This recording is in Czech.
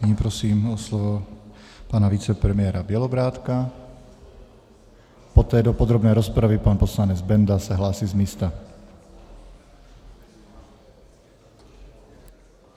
Nyní prosím o slovo pana vicepremiéra Bělobrádka, poté do podrobné rozpravy pan poslanec Benda se hlásí z místa.